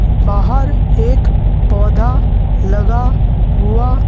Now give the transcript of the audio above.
बाहर एक पौधा लगा हुआ--